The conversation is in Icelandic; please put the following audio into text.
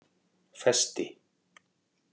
Festi